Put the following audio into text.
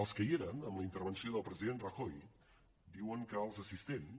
els que hi eren en la intervenció del president rajoy diuen que els assistents